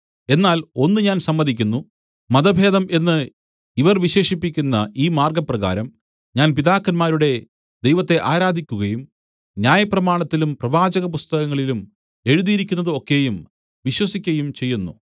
എന്നാൽ ഒന്ന് ഞാൻ സമ്മതിക്കുന്നു മതഭേദം എന്ന് ഇവർ വിശേഷിപ്പിക്കുന്ന ഈ മാർഗ്ഗപ്രകാരം ഞാൻ പിതാക്കന്മാരുടെ ദൈവത്തെ ആരാധിക്കുകയും ന്യായപ്രമാണത്തിലും പ്രവാചകപുസ്തകങ്ങളിലും എഴുതിയിരിക്കുന്നത് ഒക്കെയും വിശ്വസിക്കയും ചെയ്യുന്നു